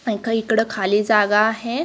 आणि काही इकडं खाली जागा आहे.